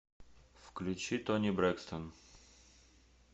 включи тони брекстон